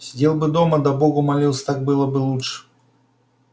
сидел бы дома да богу молился так было бы лучше